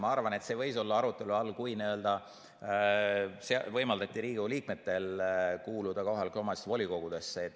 Ma arvan, et see võis olla arutelu all siis, kui anti Riigikogu liikmetele võimalus kuuluda kohalike omavalitsuste volikogudesse.